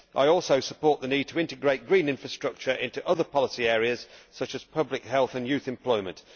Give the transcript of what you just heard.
I also support the need to integrate green infrastructure into other policy areas such as public health and youth employment.